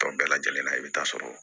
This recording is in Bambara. Tɔw bɛɛ lajɛlen na i bɛ taa sɔrɔ